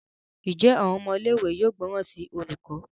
Njé Àwọn ọmọ ilé ìwé yóò gbóròn sí olùkó?